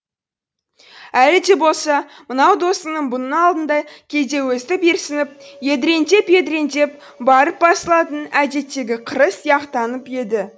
әлі де болса мынау досының бұның алдында кейде өстіп ерсініп едіреңдеп едіреңдеп барып басылатын әдеттегі қыры сияқтанып еді